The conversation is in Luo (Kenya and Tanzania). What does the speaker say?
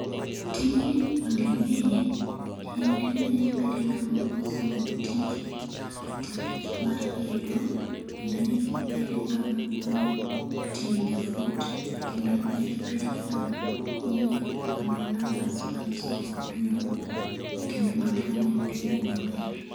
Tijni monding'eye en ni nyakibedi ng'ama osomo tij architecture mar gedo. Kendo nyakibed ng'amo ong'e tiyo gi fut, kendo nyakibed gi ng'ama ong'e kwano numbers mantie e fudno, kendo ng'at mong'e pimo maber.